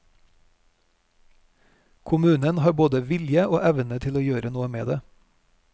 Kommunen har både vilje og evne til å gjøre noe med det.